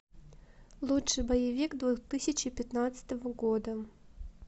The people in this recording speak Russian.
лучший боевик две тысячи пятнадцатого года